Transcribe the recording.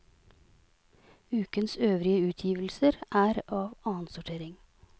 Ukens øvrige utgivelser er av annensortering.